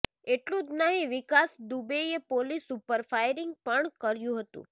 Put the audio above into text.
એટલું જ નહીં વિકાસ દુબેએ પોલીસ ઉપર ફાયરિંગ પણ કર્યું હતું